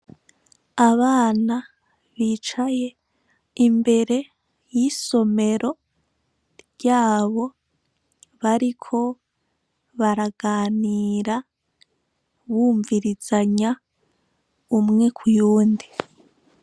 Abana bicaye imbere y'isomero ryabo bariko baraganira bumvirizanya umwe ku yundi.